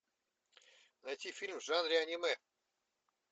найти фильм в жанре аниме